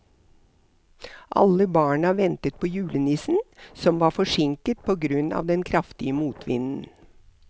Alle barna ventet på julenissen, som var forsinket på grunn av den kraftige motvinden.